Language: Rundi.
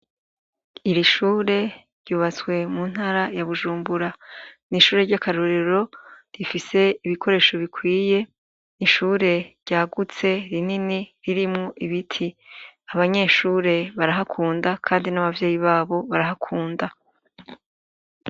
Iri shure ryubatswe muntara ya Bujumbura ni ishure ry' akarorero rifise ibikoresho bikwiye ni ishure ryagutse rinini ririmwo ibiti abanyeshure barahakunda kandi n' abavyeyi babo barahakunda.